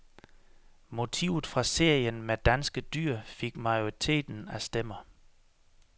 Motivet fra serien med danske dyr fik majoriteten af stemmer.